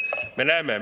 Selge!